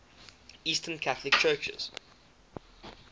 eastern catholic churches